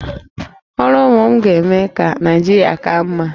Ọrụ ụmụ m ga-eme ka Naịjirịa ka mma